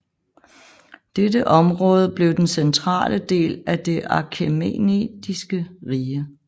Dette område blev den centrale del af det Achæmenidiske rige